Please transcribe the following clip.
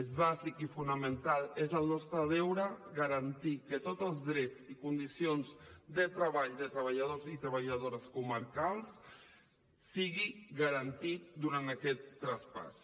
és bàsic i fonamental és el nostre deure garantir que tots els drets i condicions de treball de treballadors i treballadores comarcals sigui garantit durant aquest traspàs